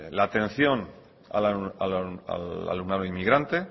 la atención al alumnado inmigrante